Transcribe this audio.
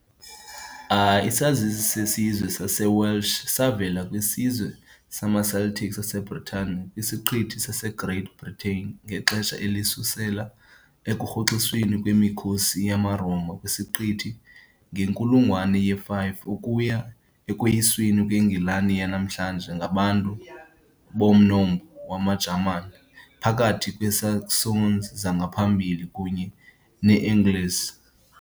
Isazisi sesizwe saseWelsh savela kwisizwe samaCeltic saseBritane kwisiqithi saseGreat Britain ngexesha elisusela ekurhoxisweni kwemikhosi yamaRoma kwisiqithi, ngenkulungwane ye-5, ukuya ekoyisweni kweNgilani yanamhlanje ngabantu bomnombo wamaJamani, phakathi kweeSaxons zangaphambili kunye neeAngles .